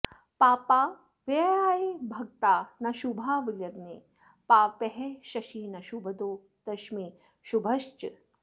पापा व्ययायभगता न शुभा विलग्ने पापः शशी न शुभदो दशमे शुभश्च